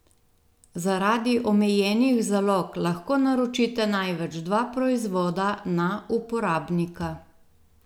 Zaradi omejenih zalog lahko naročite največ dva proizvoda na uporabnika.